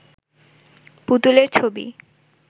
পুতুলের ছবি